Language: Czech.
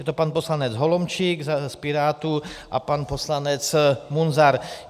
Je to pan poslanec Holomčík z Pirátů a pan poslanec Munzar.